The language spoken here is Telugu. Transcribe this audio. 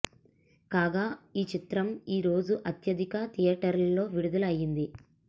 కాగా ఈ చిత్రం ఈ రోజు అత్యధిక థియేటర్లలో విడుదల అయింది